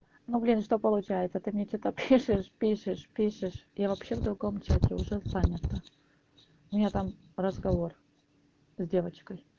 ну блин что получается ты мне что-то пишешь пишешь пишешь я вообще в другом чате уже занята у меня там разговор с девочкой